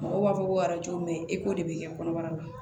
Mɔgɔw b'a fɔ ko i k'o de bɛ kɛ kɔnɔbara la